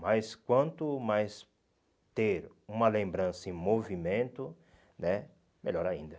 Mas quanto mais ter uma lembrança em movimento né, melhor ainda.